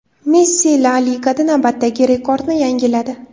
Messi La Ligada navbatdagi rekordni yangiladi.